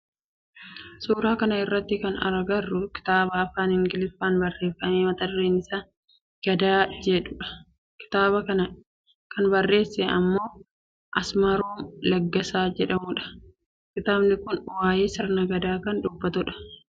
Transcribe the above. Suuraa kana irratti kan agarru kitaaba afaan Ingiliffaatin barreeffame mata dureen isaa Gadaa jedhudha. Kitaaba kana kan barreesse nama Asmaarom Laggasaa jedhamudha. Kitaabni kun waayee sirna Gadaa kan dubbatu dha.